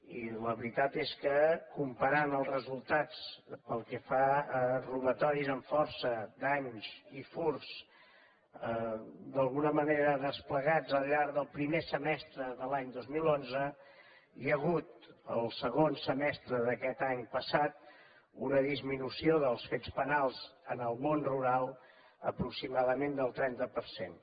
i la veritat és que comparant els resultats pel que fa a robatoris amb força danys i furts d’alguna manera desplegats al llarg del primer semestre de l’any dos mil onze hi ha hagut el segon semestre d’aquest any passat una disminució dels fets penals en el món rural aproximadament del trenta per cent